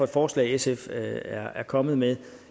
forslag sf er er kommet med